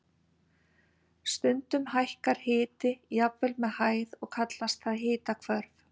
Stundum hækkar hiti jafnvel með hæð og kallast það hitahvörf.